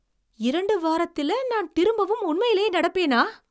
இரண்டு வாரத்தில நான் திரும்பவும் உண்மையிலேயே நடப்பேனா?